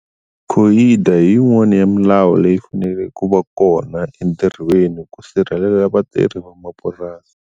Hi yin'wani ya milawu leyi faneleke ku va kona entirhweni ku sirhelela vatirhi va mapurasi.